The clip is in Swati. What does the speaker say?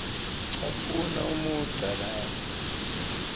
caphuna umugca lapho